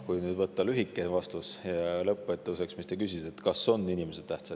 Kui anda lühike vastus sellele, mis te küsisite lõpetuseks – kas inimesed on tähtsad?